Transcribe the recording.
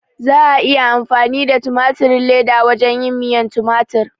Za a iya amfani da tumatirin leda wajen yin miyan tumatir